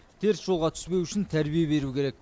теріс жолға түспеуі үшін тәрбие беру керек